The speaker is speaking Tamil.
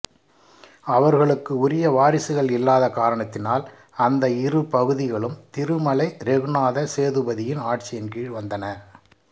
அவர்களுக்கு உரிய வாரிசுகள் இல்லாத காரணத்தினால் அந்த இரு பகுதிகளும் திருமலை ரெகுநாத சேதுபதியின் ஆட்சியின் கீழ் வந்தன